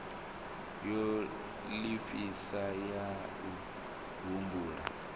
ya lifhasi ya u humbula